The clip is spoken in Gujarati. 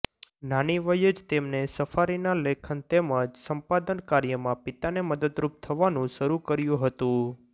નાની વયે જ તેમને સફારીના લેખન તેમજ સંપાદન કાર્યમાં પિતાને મદદરૂપ થવાનું શરુ કર્યું હતું